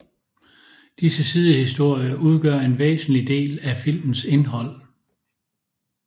Disse sidehistorier udgør en væsentlig del af filmens indhold